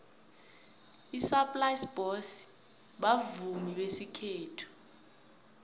isaplasi boys bavumi besikhethu